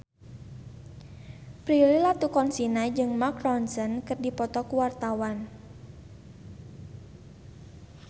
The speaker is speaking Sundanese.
Prilly Latuconsina jeung Mark Ronson keur dipoto ku wartawan